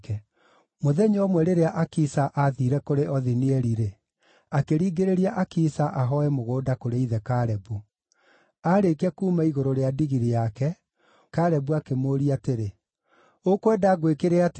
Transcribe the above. Mũthenya ũmwe rĩrĩa Akisa aathiire kũrĩ Othinieli-rĩ, akĩringĩrĩria Akisa ahooe mũgũnda kũrĩ ithe Kalebu. Aarĩkia kuuma igũrũ rĩa ndigiri yake, Kalebu akĩmũũria atĩrĩ, “Ũkwenda ngwĩkĩre atĩa?”